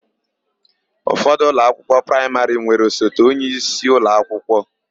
Ụfọdụ ụlọakwụkwọ praịmarị nwere osote onyeisi ụlọakwụkwọ.